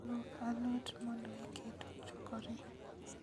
Luok alot mondo iket ochwakre